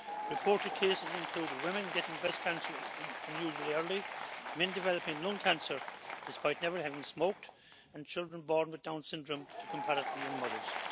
Reported cases include women getting breast cancer unusually early, men developing lung cancer despite never having smoked, and children born with Down's Syndrome to comparatively young mothers.